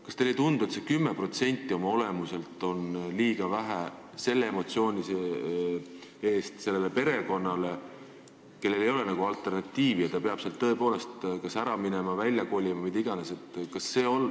Kas teile ei tundu, et 10% oma olemuselt on liiga vähe selle emotsiooni eest, kui perekonnal ei ole alternatiivi ja ta peab tõepoolest kas kodust ära minema või välja kolima, mida iganes?